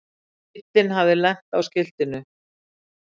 Bíllinn hafði lent á skiltinu.